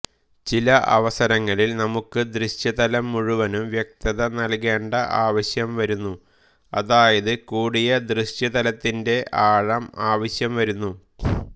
ചില അവസരങ്ങളിൽ നമുക്ക് ദൃശ്യതലം മുഴുവനും വ്യക്തത നൽകേണ്ട ആവശ്യം വരുന്നു അതായത് കൂടിയ ദൃശ്യതലത്തിന്റെ ആഴം ആവശ്യം വരുന്നു